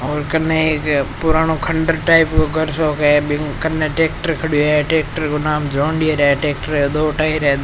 और कन्ने एक पुरानो खंडर टाइप को घर सो क है बि कन टैक्टर खड़ो है टैक्टर को नाम जोंडियार है टैक्टर के दो टायर है।